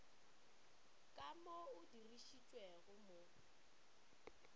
ka mo o dirišitšwego mo